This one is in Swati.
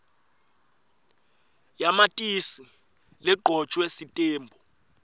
yamatisi legcotjwe sitembu